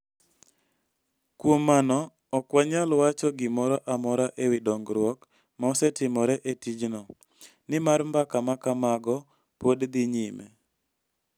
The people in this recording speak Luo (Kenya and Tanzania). Kuom mano, ok wanyal wacho gimoro amora e wi dongruok ma osetimore e tijno, nimar mbaka ma kamago pod dhi nyime.